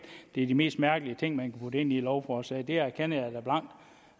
det er de mest mærkelige ting man kan putte ind i et lovforslag det erkender